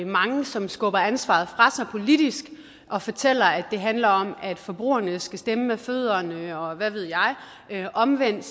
mange som skubber ansvaret fra sig politisk og fortæller at det handler om at forbrugerne skal stemme med fødderne og hvad ved jeg men omvendt